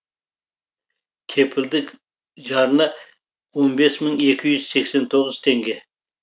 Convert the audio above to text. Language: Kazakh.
кепілдік жарна он бес мың екі жүз сексен тоғыз теңге